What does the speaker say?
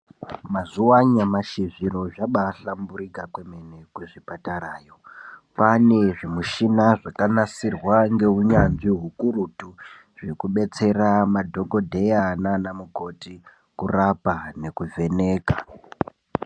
Mazuwa anyamashi zviro zvabaahlamburika kwemene kuzvipatarayo. Kwaane zvimishina zvakanasirwa ngeunyanzvi hukurutu hwekubetsera madhokodheya nanamukoti kurapa nekuvheneka.